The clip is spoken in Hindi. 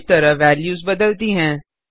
इस तरह वेल्यूस बदलती हैं